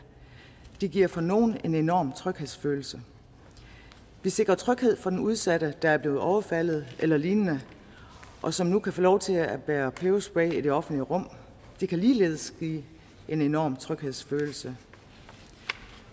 det giver for nogle en enorm tryghedsfølelse vi sikrer tryghed for den udsatte der er blevet overfaldet eller lignende og som nu kan få lov til at bære peberspray i det offentlige rum det kan ligeledes give en enorm tryghedsfølelse